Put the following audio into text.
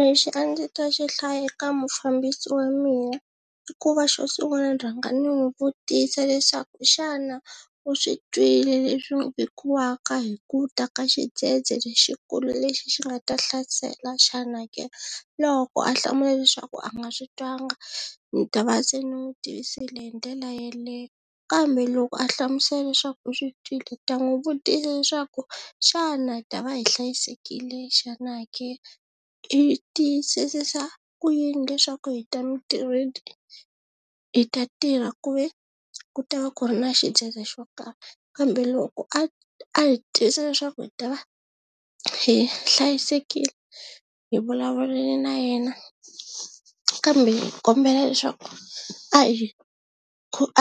Lexi a ndzi ta xi hlaya eka mufambisi wa mina i ku va xo sunguna ni rhanga ni n'wi vutisa leswaku xana u swi twile leswi hi ku ta ka xidzedze lexikulu lexi xi nga ta hlasela xana ke loko a hlamula leswaku a nga swi twanga ni ta va se ni n'wu tivisile hi ndlela yeleyo kambe loko a hlamusela leswaku u swi twile ni ta n'wi vutisa leswaku xana hi ta va hi hlayisekile xana ke, i tiyisisisa ku yini leswaku hi ta mintirhweni hi ta tirha ku ve ku ta va ku ri na xidzedze xo karhi kambe loko a a hi tivisa leswaku hi ta va hi hlayisekile hi vulavulile na yena kambe hi kombela leswaku a hi